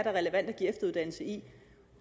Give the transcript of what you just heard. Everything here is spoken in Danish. er relevant at give efteruddannelse i